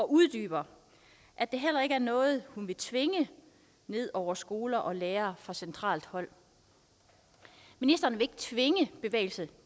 uddyber at det heller ikke er noget hun vil tvinge ned over skoler og lærere fra centralt hold ministeren vil tvinge bevægelse